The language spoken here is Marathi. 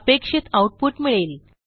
अपेक्षित आऊटपुट मिळेल